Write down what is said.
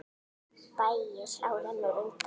Bægisá rennur undan.